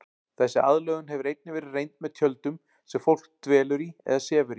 Þessi aðlögun hefur einnig verið reynd með tjöldum sem fólk dvelur í eða sefur í.